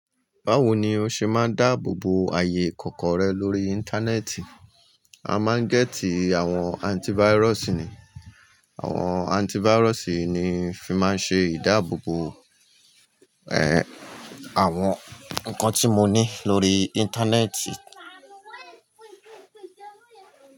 Báwo ni o ṣe máa ń dáàbò bo ààyè kọ̀ọ̀kan rẹ lórí Íńtánẹ́ẹ̀tì? A máa ń gẹ́tì àwọn antívírọ̀sì ni. Àwọn antíváirọ̀sì yii ni n fi máa ń ṣe ìdáàbò bo àwọn nǹkan tí mo ní lórí Íńtánẹ́ẹ̀tì.